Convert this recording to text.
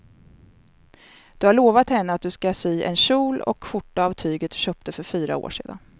Du har lovat henne att du ska sy en kjol och skjorta av tyget du köpte för fyra år sedan.